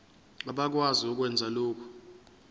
abakwazi ukwenza lokhu